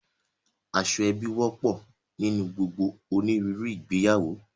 Aṣọ ẹbi wọ́pọ̀ nínú gbogbo òníruru ìgbéyàwó